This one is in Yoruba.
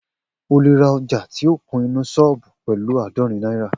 O lè ra ọjà ti o kun inú sọ́ọ̀bù pẹ̀lu àádọ́rin náírà